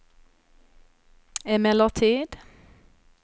emellertid